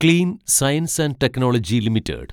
clean science and technology limited